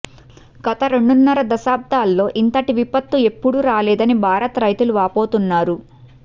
గత రెండున్నర దశాబ్దాల్లో ఇంతటి విపత్తు ఎప్పుడూ రాలేదని భారత్ రైతులు వాపోతున్నారు